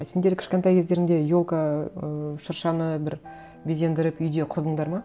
а сендер кішкентай кездеріңде елка ыыы шыршаны бір безендіріп үйде құрдыңдар ма